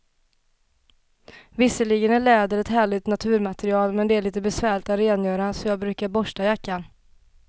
Visserligen är läder ett härligt naturmaterial, men det är lite besvärligt att rengöra, så jag brukar borsta jackan.